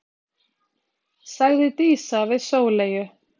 sagði Dísa við Sóleyju.